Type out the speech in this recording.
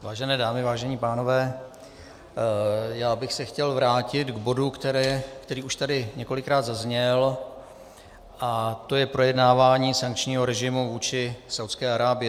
Vážené dámy, vážení pánové, já bych se chtěl vrátit k bodu, který tady už několikrát zazněl, a to je projednávání sankčního režimu vůči Saúdské Arábii.